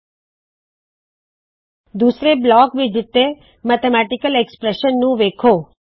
ਦੂੱਸਰੇ block ਵਿਚ ਦਿੱਤੇ mathematical expression ਗਣਿਤ ਦੀ ਉਕਤਿ ਮੈਥਮੈਟਿਕਲ ਐਕਸਪ੍ਰੈਸ਼ਨ ਨੂੰ ਵੇੱਖੋ